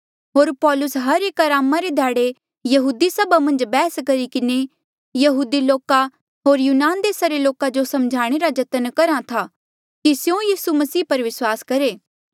होर पौलुस हर एक अरामा रे ध्याड़े यहूदी सभा मन्झ बैहस करी किन्हें यहूदी लोका होर यूनान देसा रे लोका जो समझाणें रा जतन करहा था की स्यों यीसू मसीह पर विस्वास करहे